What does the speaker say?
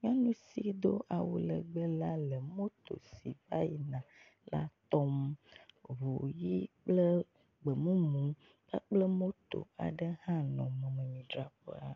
nyɔnu si do awu legbe la le moto si vayina la tɔm. Ʋu ɣi kple gbemumu kpakple moto aɖe hã nɔ mɔmidzraƒea.